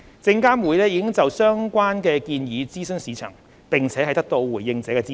證監會已就相關建議諮詢市場，並得到回應者的支持。